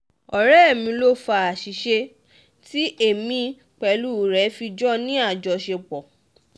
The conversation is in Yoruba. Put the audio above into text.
ọ̀rẹ́ mi ló fa àṣìṣe tí um èmi pẹ̀lú rẹ̀ fi jọ ní um àjọṣepọ̀